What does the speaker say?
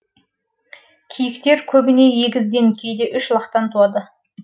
киіктер көбіне егізден кейде үш лақтан туады